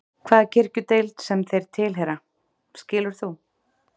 Hvaða kirkjudeild sem þeir tilheyra, skilur þú?